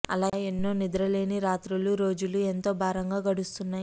అలా ఎన్నో నిద్ర లేని రాత్రులు రోజులు ఎంతో భారంగా గడుస్తున్నాయి